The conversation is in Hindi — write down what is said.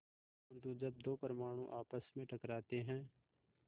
परन्तु जब दो परमाणु आपस में टकराते हैं